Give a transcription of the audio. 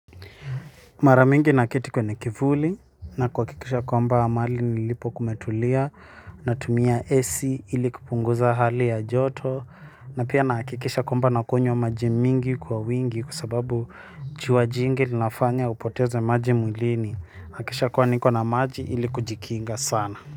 Maramingi naketi kwenye kivuli na kuwakikisha kwamba mali nilipo kumetulia natumia AC ili kupunguza hali ya joto na pia nakikisha kwamba nakunywa maji mingi kwa wingi kwa sababu jua jingi ninafanya upoteze maji mwilini nakisha kwa niko na maji ili kujikinga sana.